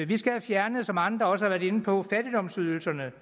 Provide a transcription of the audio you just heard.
vi skal have fjernet som andre også har været inde på fattigdomsydelserne